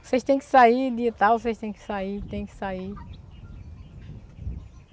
Vocês têm que sair de tal, vocês têm que sair, têm que sair.